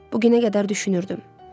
Bu günə qədər düşünürdüm.